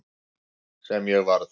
Sem ég varð.